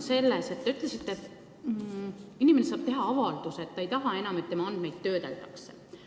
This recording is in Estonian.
Te ütlesite, et inimene saab teha avalduse, et ta ei taha, et tema andmeid töödeldakse.